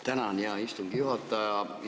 Tänan, hea istungi juhataja!